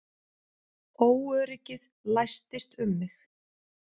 Óöryggið læstist um mig.